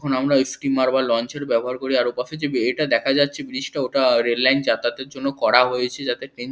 আমরা স্টিমার বা লঞ্চের ব্যবহার করি আর ওপাশে যে এটা দেখা যাচ্ছে রেল লাইন যাতায়াতের জন্য করা হয়েছে যাতে ট্রেন --